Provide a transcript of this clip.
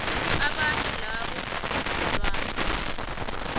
abantu nabo ziinlwana